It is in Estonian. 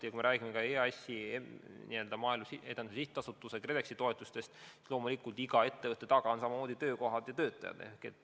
Ja kui me räägime ka EAS-i ehk Maaelu Edendamise Sihtasutuse ja KredExi toetustest, siis loomulikult on iga ettevõtte taga samamoodi töökohad ja töötajad.